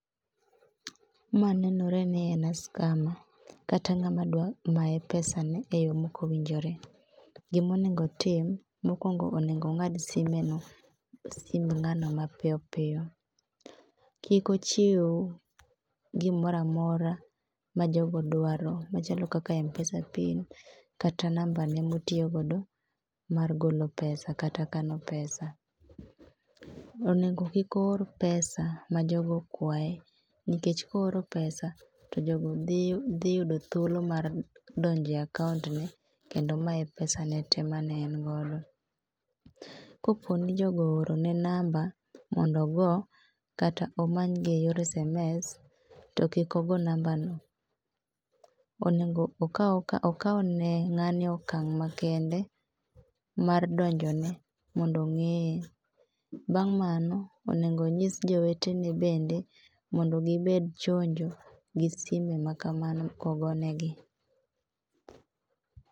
Ma nenore ni en a scammer kata ng'ama dwa maye pesa ne eyo maok owinjore. Gima onego otim, mokuongo onego ong'ad simeno, ong'ad simb ng'ano mapiyo piyo. Kik ochiw gimoro amora majogo dwaro machalo kaka mpesa pin, kata nambane motiyo godo mar golo pesa kata kano pesa. Onego kik oor pesa majogo okwaye, nikech kooro pesa to jogo dhi yudo thuolo mar donjo e akaontne kendo maye pesa ne te mane en godo. Kopo ni jogo oorone namba mondo ogo kata omany gi eyor sms, to kik ogo nambano. Onego okaw ni ng'ani okang' kendo mar donjone mondo ong'eye. Bang' mano onego onyis jowetene mondo gbed chonjo gi sime makamano ka ogo negi.